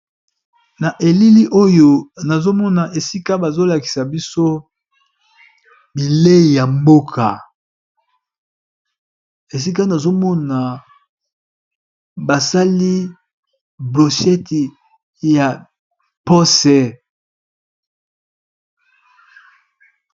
na elili oyo nazomona esika bazolakisa biso bilei ya mboka esika nazomona basali blocheti ya pose